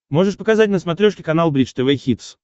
можешь показать на смотрешке канал бридж тв хитс